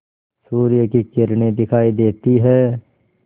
सूर्य की किरणें दिखाई देती हैं